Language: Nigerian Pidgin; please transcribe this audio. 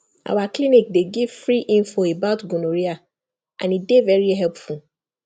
our clinic dey give free info about gonorrhea and e dey very helpful